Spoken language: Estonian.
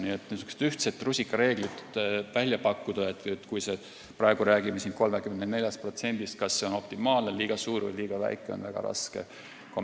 Nii et niisugust ühtset rusikareeglit – kui me räägime sellest, kas see 34% on optimaalne, liiga suur või liiga väike –, on väga raske välja pakkuda.